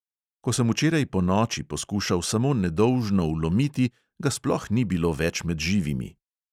Ko sem včeraj ponoči poskušal samo nedolžno vlomiti, ga sploh ni bilo več med živimi!